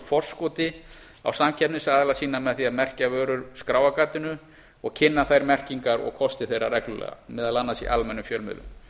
forskoti á samkeppnisaðila sína með því að merkja vörur skráargatinu og kynna þær merkingar og kosti þeirra reglulega meðal annars í almennum fjölmiðlum